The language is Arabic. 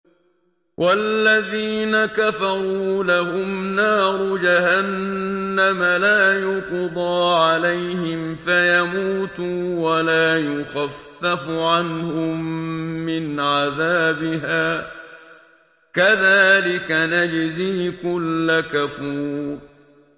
وَالَّذِينَ كَفَرُوا لَهُمْ نَارُ جَهَنَّمَ لَا يُقْضَىٰ عَلَيْهِمْ فَيَمُوتُوا وَلَا يُخَفَّفُ عَنْهُم مِّنْ عَذَابِهَا ۚ كَذَٰلِكَ نَجْزِي كُلَّ كَفُورٍ